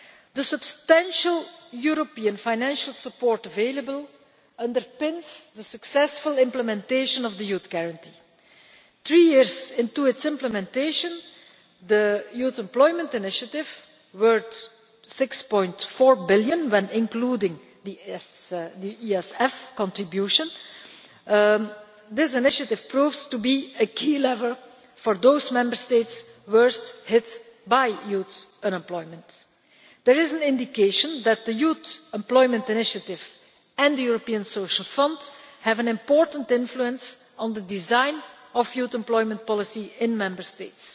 The substantial European financial support available underpins the successful implementation of the Youth Guarantee. Three years into its implementation, the Youth Employment Initiative, worth EUR 6.4 billion when including the ESF contribution, is proving to be a key lever for those Member States worst hit by youth unemployment. There is an indication that the Youth Employment Initiative and the ESF have an important influence on the design of youth employment policy in Member States.